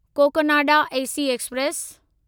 Cocanada AC express